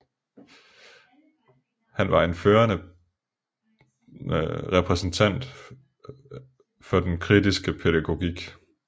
Han var en førende repræsentant for den kritiske pædagogik